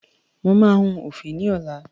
Mo máa hun òfì ní ọlá.